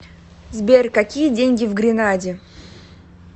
сбер какие деньги в гренаде